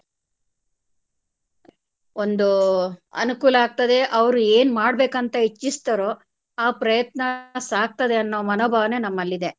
ಒಂದು ಅನುಕೂಲ ಆಗ್ತದೆ ಅವ್ರು ಏನ್ ಮಾಡ್ಬೇಕ್ ಅಂತ ಇಚ್ಚಿಸ್ತಾರೋ ಆ ಪ್ರಯತ್ನ ಸಾಗ್ತದೆ ಅನ್ನೋ ಮನೋಭಾವನೆ ನಮ್ಮಲ್ಲಿದೆ.